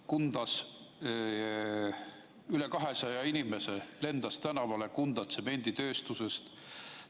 Kundas lendas üle 200 inimese tänavale Kunda tsemenditööstusest.